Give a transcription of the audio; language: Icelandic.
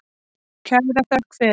Kæra þökk fyrir.